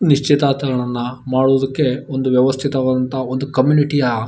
ನಿಶ್ಚಿತಾರ್ಥಗಳ್ನ ಮಾಡೋದಕ್ಕೆ ಒಂದು ವ್ಯವಸ್ಥಿತವಾದ ಒಂದು ಕಂಮ್ಯುನಿಟಿಯ-